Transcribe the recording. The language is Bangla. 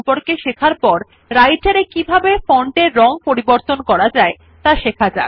ফন্টের সাইজ সম্পর্কে শেখার পর আমরা কিভাবে রাইটের এ ফন্টের রং পরিবর্তন করতে পারি ত়া শেখা যাক